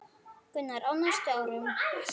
Gunnar: Á næstu árum?